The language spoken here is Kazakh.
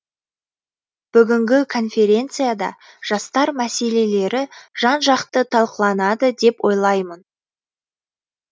бүгінгі конференцияда жастар мәселелері жан жақты талқыланады деп ойлаймын